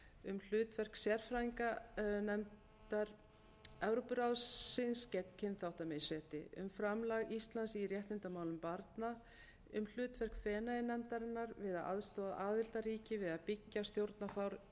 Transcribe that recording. um hlutverk sérfræðinganefndar evrópuráðsins gegn kynþáttamisrétti um framlagi íslands í réttindamálum barna um hlutverk feneyjanefndarinnar við að aðstoða aðildarríki við að byggja stjórnarfar